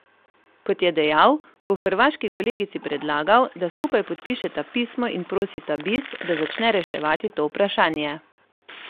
Kot je dejal, bo hrvaški kolegici predlagal, da skupaj podpišeta pismo in prosita Bis, da začne reševati to vprašanje.